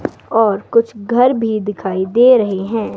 और कुछ घर भी दिखाई दे रहे हैं।